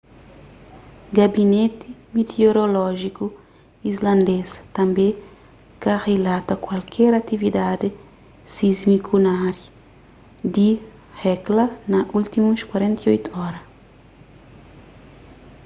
gabineti mitiorolójiku islandês tanbê ka rilata kualker atividadi sismiku na ária di hekla na últimus 48 ora